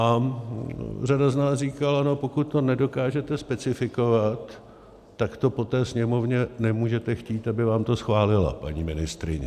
A řada z nás říkala: pokud to nedokážete specifikovat, tak to po té Sněmovně nemůžete chtít, aby vám to schválila, paní ministryně.